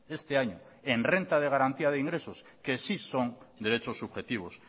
este año en renta de garantía de ingresos que sí son derechos subjetivos